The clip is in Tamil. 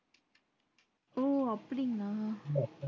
ஓ அப்படிங்கள